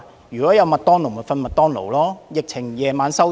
如果麥當勞營業，他便在那裏睡覺。